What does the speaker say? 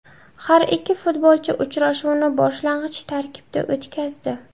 Har ikki futbolchi uchrashuvni boshlang‘ich tarkibda o‘tkazdi.